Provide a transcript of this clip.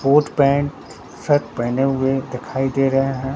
Coat pant shirt पहेने हुए देखाई दे रहे हैं।